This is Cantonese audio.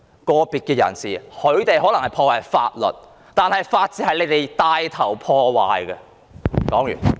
個別人士可能破壞了法律，法治卻是由執法者帶頭破壞的。